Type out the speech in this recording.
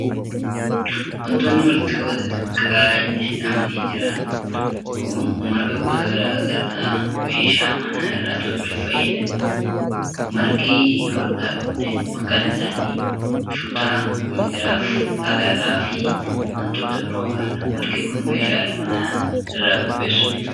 Wantoonni walitti qabaa xixiqqoon hidhamanii jiran kun, marga gosa garaa meeshaalee manaa irraa tolchuuf fayyadanii dha. Margi hodhaa kunneen maqaan isaanii:shutaa, migira, alalaa fi wantoota biroo faa dha. Margi kun, meeshaalee manaa irraa qopheessuuf oolu.